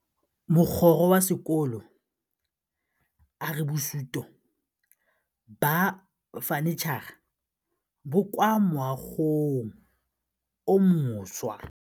Mogokgo wa sekolo a re bosutô ba fanitšhara bo kwa moagong o mošwa.